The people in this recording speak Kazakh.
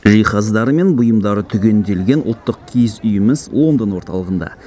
жиһаздары мен бұйымдары түгенделген ұлттық киіз үйіміз лондон орталығында